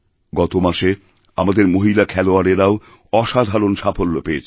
গত মাসে আমাদের মহিলা খেলোয়াড়েরাও অসাধারণ সাফল্যপেয়েছেন